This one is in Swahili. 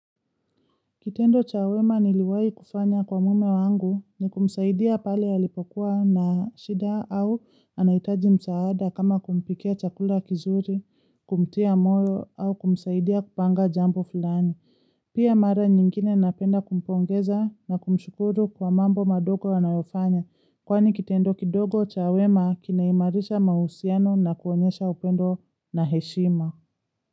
Kitendo cha wema niliwahi kufanya kwa mweme wangu ni kumsaidia pale ya lipokuwa na shida au anahitaji msaada kama kumpikia chakula kizuri, kumtia moyo au kumsaidia kupanga jambo fulani. Pia mara nyingine napenda kumpongeza na kumshukuru kwa mambo madogo wanayofanya kwani kitendo kidogo chawema kinaimarisha mahusiano na kuonyesha upendo na heshima.